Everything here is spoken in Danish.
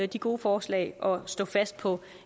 de gode forslag og stå fast på